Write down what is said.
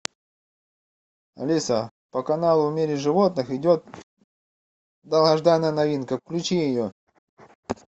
алиса по каналу в мире животных идет долгожданная новинка включи ее